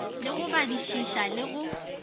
le go badišiša le go